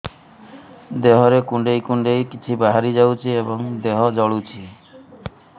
ଦେହରେ କୁଣ୍ଡେଇ କୁଣ୍ଡେଇ କିଛି ବାହାରି ଯାଉଛି ଏବଂ ଦେହ ଜଳୁଛି